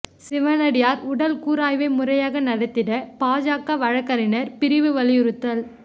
சிவனடியாா் உடல் கூராய்வை முறையாக நடத்திட பாஜக வழக்குரைஞா் பிரிவு வலியுறுத்தல்